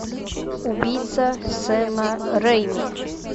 убийца сема рейми